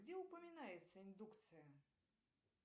где упоминается индукция